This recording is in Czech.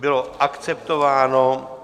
Bylo akceptováno.